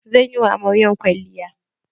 Zan yi wa amaryar kwalliya.